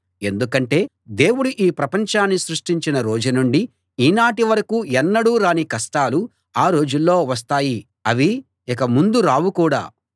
ఎందుకంటే దేవుడు ఈ ప్రపంచాన్ని సృష్టించిన రోజు నుండి ఈనాటి వరకూ ఎన్నడూ రాని కష్టాలు ఆ రోజుల్లో వస్తాయి అవి ఇక ముందు రావు కూడా